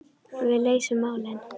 Við leysum málin.